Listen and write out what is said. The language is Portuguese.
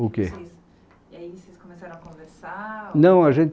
O que? Aí vocês começaram a conversar... Não a gente